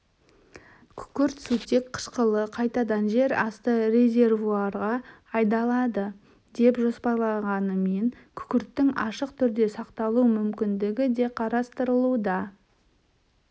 күкірт сутек қышқылы қайтадан жер асты резервуарға айдалады деп жоспарланғанымен күкірттің ашық түрде сақталу мүмкіндігі де қарастырылуда